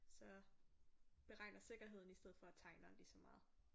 Så beregner sikkerheden i stedet for at tegner lige så meget